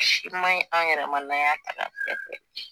Si ma ɲi anw yɛrɛ n'an y'a ta k'a filɛ